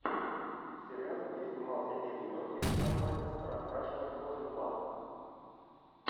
сериал где снимался эдди мерфи с названием раскрашенная кожа два